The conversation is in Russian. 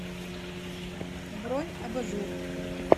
бронь абажуръ